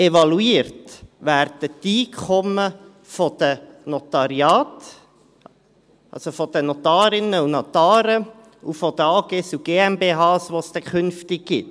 Evaluiert werden die Einkommen der Notariate, also jene von den Notarinnen und Notare sowie von den AGs und GmbHs, die es dann zukünftig gibt.